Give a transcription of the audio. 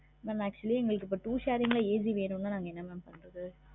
mam actually எங்களுக்கு இப்ப two sharing ல AC வேணும்னா என்ன mam பண்றது?